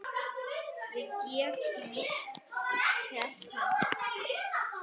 Við getum selt hann.